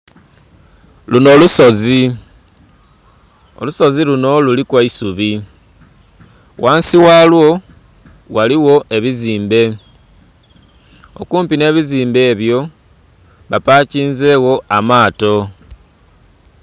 Lunho lusozi olusozi lunho luliku eisubi ghansi galwo ghaligho ebizimbe okumpi nhe bizimbe ebyo bapakinzegho amaato.